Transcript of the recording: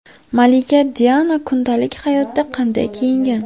Malika Diana kundalik hayotda qanday kiyingan?